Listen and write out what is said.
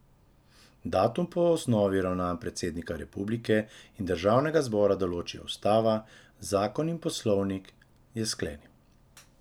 Datum po osnovi ravnanj predsednika republike in državnega zbora določijo ustava, zakon in poslovnik, je sklenil.